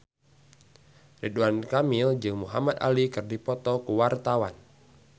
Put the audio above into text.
Ridwan Kamil jeung Muhamad Ali keur dipoto ku wartawan